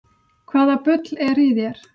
Hvaða bull er í þér?